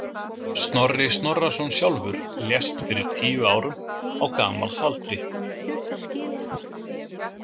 Snorri Snorrason sjálfur lést fyrir tíu árum, á gamals aldri.